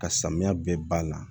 Ka samiya bɛɛ banna